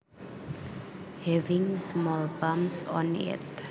Having small bumps on it